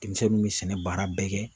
Denmisɛnninw bɛ sɛnɛ baara bɛɛ kɛ.